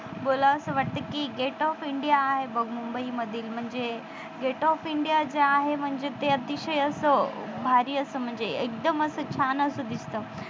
बोलावं असं वाटत कि gate of india आहे बघ मुंबईमधील म्हणजे gate of india जे आहे म्हणजे अतिशय असं भारी असं एकदम छान असं दिसत.